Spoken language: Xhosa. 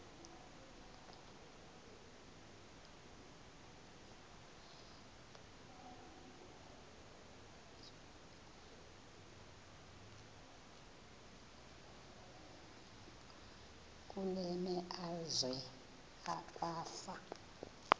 kule meazwe kwafa